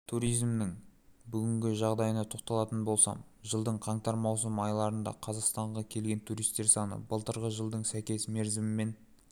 туризмнің бүгінгі жағдайына тоқталатын болсам жылдың қаңтар-маусым айларында қазақстанға келген туристер саны былтырғы жылдың сәйкес мерзімімен